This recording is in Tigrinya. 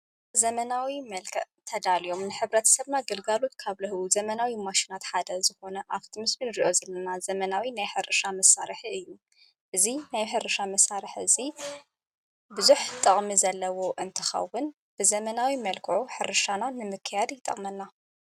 ዘመናዊ መልቀ ተዳልዮም ንኅብረት ሰማ ገልጋሉት ካብ ልህቡ ዘመናዊ ማሽናት ሓደ ዝኾነ ኣብቲ ምስምን ርዮ ዝለና ዘመናዊ ናይ ሕርሻ መሣርሕ እዩ ።እዙይ ናይ ሕርሻ መሣርሕ እዙይ ብዙኅ ጥቕሚ ዘለዎ እንትኻውን ብዘመናዊ መልክዑ ሕርሻና ንምከያድ ይጠቕመና።